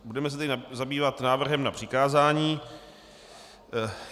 Budeme se tedy zabývat návrhem na přikázání.